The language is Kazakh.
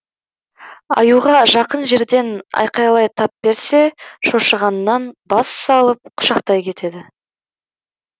аюға жақын жерден айқайлай тап берсе шошығаннан бассалып құшақтай кетеді